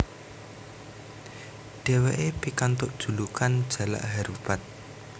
Dheweke pikantuk julukan Jalak Harupat